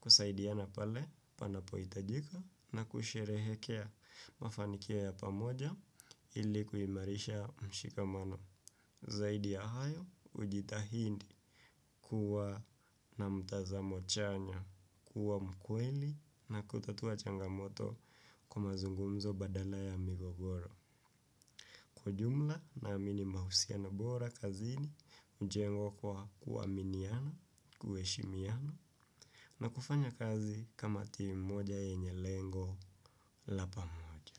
Kusaidiana pale panapohitajika na kusherehekea mafanikio ya pamoja ili kuimarisha mshikamano. Zaidi ya hayo hujitahindi kuwa na mtazamo chanya, kuwa mkweli na kutatua changamoto kwa mazungumzo badala ya migogoro. Kwa jumla naamini mahusiano bora kazini hujengwa kwa kuaminiana, kuheshimiana na kufanya kazi kama team moja yenye lengo la pamoja.